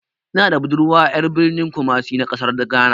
Ina da budurwa ƴar birnin kumasi na ƙasar ghana.